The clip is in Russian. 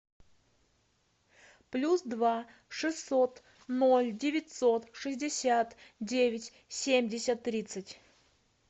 плюс два шестьсот ноль девятьсот шестьдесят девять семьдесят тридцать